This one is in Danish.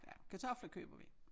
Ja kartofler køber vi